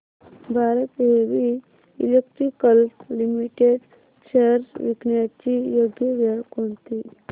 Bharat heavy electricals limited shares विकण्याची योग्य वेळ कोणती